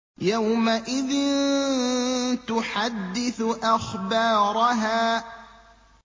يَوْمَئِذٍ تُحَدِّثُ أَخْبَارَهَا